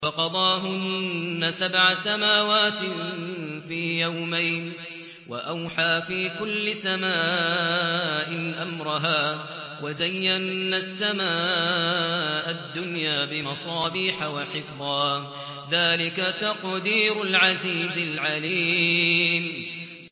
فَقَضَاهُنَّ سَبْعَ سَمَاوَاتٍ فِي يَوْمَيْنِ وَأَوْحَىٰ فِي كُلِّ سَمَاءٍ أَمْرَهَا ۚ وَزَيَّنَّا السَّمَاءَ الدُّنْيَا بِمَصَابِيحَ وَحِفْظًا ۚ ذَٰلِكَ تَقْدِيرُ الْعَزِيزِ الْعَلِيمِ